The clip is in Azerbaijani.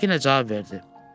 Təmkinlə cavab verdi.